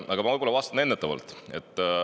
Aga ma võib-olla vastan ennetavalt.